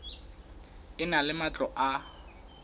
e na le matlo a